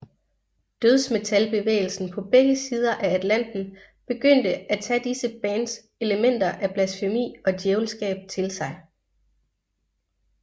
Dødsmetalbevægelsen på begge sider af Atlanten begyndte at tage disse bands elementer af blasfemi og djævelskab til sig